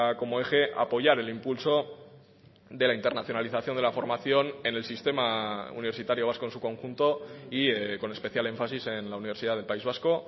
como eje a apoyar el impulso de la internacionalización de la formación en el sistema universitario vasco en su conjunto y con especial énfasis en la universidad del país vasco